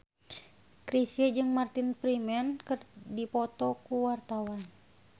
Chrisye jeung Martin Freeman keur dipoto ku wartawan